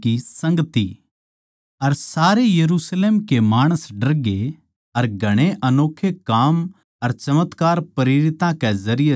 अर सारे के यरुशलेम माणस डरगे अर घणे अनोक्खे काम अर चमत्कार प्रेरितां कै जरिये जाहिर होवै थे